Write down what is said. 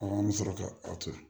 an bɛ sɔrɔ ka aw to yen